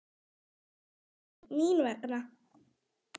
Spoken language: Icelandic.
Hvernig mín vegna?